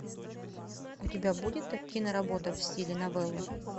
у тебя будет киноработа в стиле новеллы